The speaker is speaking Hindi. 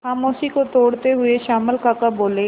खामोशी को तोड़ते हुए श्यामल काका बोले